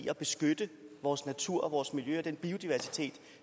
at beskytte vores natur og vores miljø og den biodiversitet